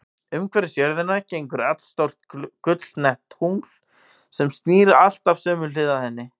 Umhverfis jörðina gengur allstórt gulleitt tungl, sem snýr alltaf sömu hlið að henni.